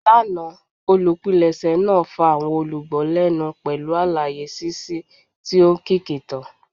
Lana, olupilẹṣẹ naa fa awọn olugbo lẹnu pẹlu alaye ṣiṣi ti o nkiki kan.